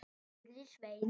spurði Svein